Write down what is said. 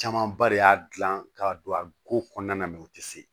Camanba de y'a gilan ka don a ko kɔnɔna na u tɛ se